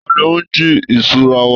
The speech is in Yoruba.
Tani ó ń jí ìṣura wa?